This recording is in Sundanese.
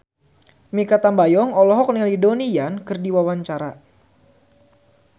Mikha Tambayong olohok ningali Donnie Yan keur diwawancara